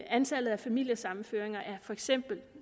antallet af familiesammenføringer er for eksempel